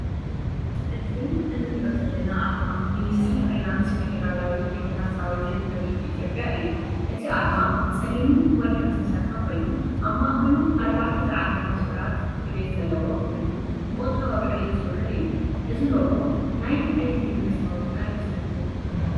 እዚ እንርእዮ ዘለና ኣርማ ሚኒስትሪ ፋይናንስ ፌደራላዊት ዲሞክራስያዊት ሪፓብሊክ ኢትዮጵያ እዩ። እቲ ኣርማ ብጸሊምን ወርቅን ዝተሰርሐ ኮይኑ፡ ኣብ ማእከሉ ኣርባዕተ ዝዓርግ መስመራት ዕብየት ዘለዎ ኮይኑ፡ ንቁጠባዊ ዕብየት ዝውክል እዩ። እዚ ሎጎ ናይ ኣየናይ መንግስታዊ ትካል ይመስለኩም?